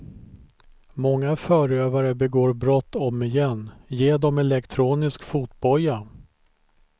Många förövare begår brott om igen, ge dem elektronisk fotboja.